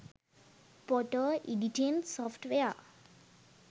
photo editing software